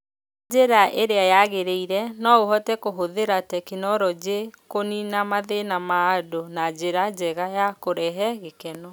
Ũngĩhũthĩra njĩra ĩrĩa yagĩrĩire, no ũhote kũhũthĩra tekinolonjĩ kũniina mathĩna ma andũ na njĩra njega na kũrehe gĩkeno.